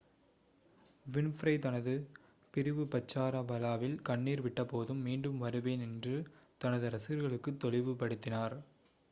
Winfrey தனது பிரிவுபச்சார விழாவில் கண்ணீர் விட்டபோதும் மீண்டும் வருவேன் என்று தனது ரசிகர்களுக்குத் தெளிவுபடுத்தினார்